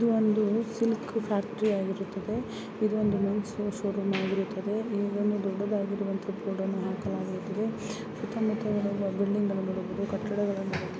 ಇದು ಒಂದು silk factory ಆಗಿರುತ್ತದೆ ಇದು ಒಂದು ಮೆನ್ಸ್ ಶೋರೂಮ್ ಆಗಿರುತ್ತದೆ ಇಲ್ಲಿ ದೊಡ್ಡವಾಗಿರುವಂತ ಬೋರ್ಡ್ಗಳನ್ನು ಹಾಕಲಾಗಿರುತ್ತದೆ ಸುತ್ತಮುತ್ತ ಬಿಲ್ಡಿಂಗಳನ್ನು ನೋಡಬಹುದು ಕಟ್ಟಡಗಳು --